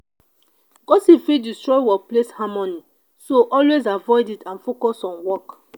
gossip fit destroy workplace harmony so always avoid it and focus on work.